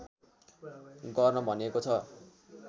गर्न भनिएको छ